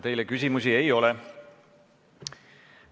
Teile küsimusi ei ole.